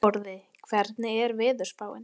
Sporði, hvernig er veðurspáin?